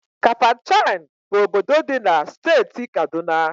Kafachan bụ obodo dị na Steeti Kaduna.